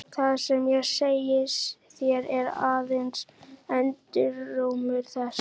Það sem ég segi þér er aðeins endurómur þess.